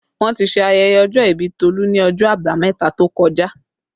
Wọ́n ti ṣe ayẹyẹ ọjọ́ ìbí Tolu ni ọjọ́ abameta tó kọjá